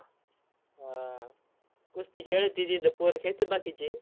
हा. कुस्ती खेळतेत इथं पोरं खेळतेत बाकीचे.